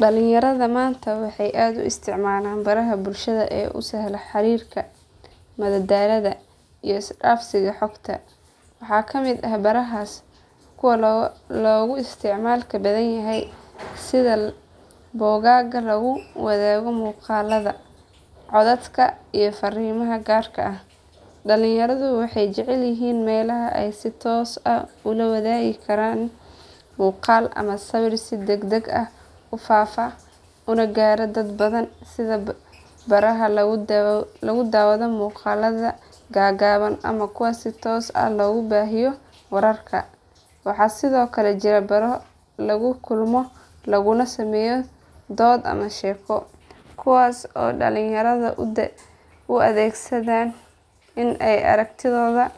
Dhalinyarada maanta waxay aad u isticmaalaan baraha bulshada ee u sahla xiriirka, madadaalada iyo isdhaafsiga xogta. Waxaa ka mid ah barahaas kuwa loogu isticmaalka badan yahay sida bogagga lagu wadaago muuqaallada, codadka iyo farriimaha gaarka ah. Dhalinyaradu waxay jecel yihiin meelaha ay si toos ah ula wadaagi karaan muuqaal ama sawir si degdeg ah u faafa una gaaro dad badan sida baraha lagu daawado muuqaalada gaagaaban ama kuwa si toos ah loogu baahiyo wararka. Waxaa sidoo kale jira baro lagu kulmo laguna sameeyo dood ama sheeko, kuwaas oo dhalinyaradu u adeegsadaan in ay aragtidooda